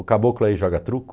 O caboclo aí joga truco?